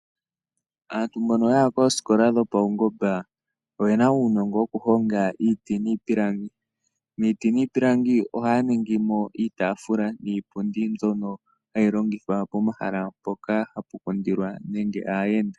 Aantu mbono ya ya koositola dhopaungomba oyena uunongo wokuhonga iiti niipilangi. Miiti niipilangi ohaya ningi mo iitaafula niipundi mbyono hayi longithwa pomahala mpoka hapu kundilwa nenge aayenda.